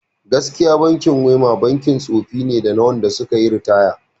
Gaskiya kam bankin WEMA bankin tsofi ne da na wanda suka yi ritaya